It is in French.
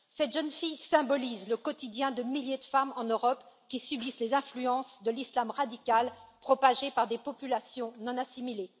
Cette jeune fille symbolise le quotidien de milliers de femmes en Europe qui subissent les influences de l'islam radical, propagé par des populations non assimilées.